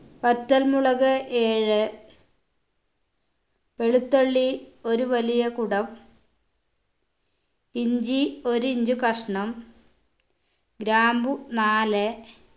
വറ്റൽ മുളക് ഏഴ് വെളുത്തുള്ളി ഒരു വലിയ കുടം ഇഞ്ചി ഒര് inch കഷ്ണം ഗ്രാമ്പൂ നാല്